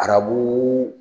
Arabuuu.